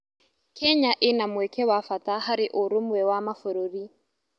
Kenya ĩna mweke wa bata harĩ ũrũmwe wa Mabũrũri.